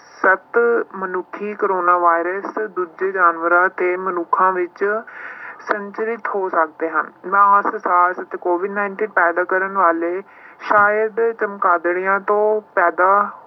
ਸੱਤ ਮਨੁੱਖੀ corona virus ਦੂਜੇ ਜਾਨਵਰਾਂ ਤੇ ਮਨੁੱਖਾਂ ਵਿੱਚ ਸੰਚਰਿਤ ਹੋ ਜਾਂਦੇ ਹਨ COVID nineteen ਪੈਦਾ ਕਰਨ ਵਾਲੇ ਸ਼ਾਇਦ ਚਮਗਾਦੜਾਂ ਤੋਂ ਪੈਦਾ